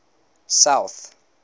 south